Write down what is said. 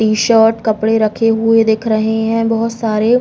T shirt कपड़े रखे हुए दिख रहे हैं बहुत सारे।